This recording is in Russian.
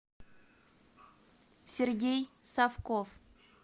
сергей савков